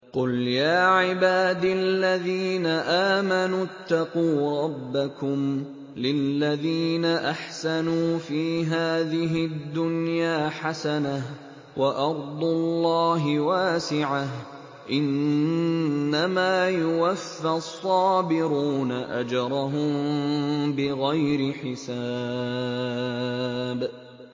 قُلْ يَا عِبَادِ الَّذِينَ آمَنُوا اتَّقُوا رَبَّكُمْ ۚ لِلَّذِينَ أَحْسَنُوا فِي هَٰذِهِ الدُّنْيَا حَسَنَةٌ ۗ وَأَرْضُ اللَّهِ وَاسِعَةٌ ۗ إِنَّمَا يُوَفَّى الصَّابِرُونَ أَجْرَهُم بِغَيْرِ حِسَابٍ